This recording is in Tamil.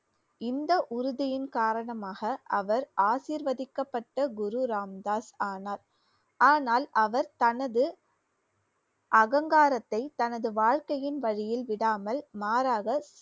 இந்த உறுதியின் காரணமாக அவர் ஆசீர்வதிக்கப்பட்ட குரு ராம்தாஸ் ஆனார். ஆனால் அவர் தனது அகங்காரத்தை தனது வாழ்க்கையின் வழியில் விடாமல் மாறாக